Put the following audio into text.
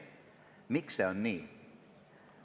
Miks see on nii?